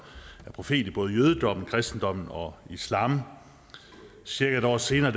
er profet i både jødedommen kristendommen og islam cirka et år senere